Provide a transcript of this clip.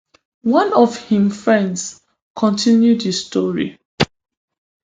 one of im friends continue di story